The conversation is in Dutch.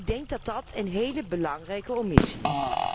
Ik denk dat dat een hele belangrijke omissie is.